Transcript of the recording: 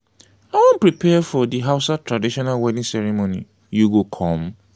i wan prepare for di hausa traditional wedding ceremony you go come?